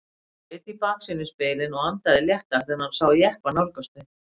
Hann leit í baksýnisspegilinn og andaði léttar þegar hann sá jeppa nálgast þau.